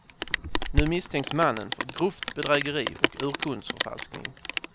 Nu misstänks mannen för grovt bedrägeri och urkundsförfalskning.